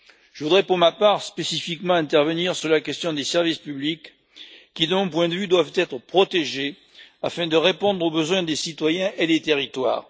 Je voudrais, pour ma part, spécifiquement intervenir sur la question des services publics qui, de mon point de vue, doivent être protégés afin de répondre aux besoins des citoyens et des territoires.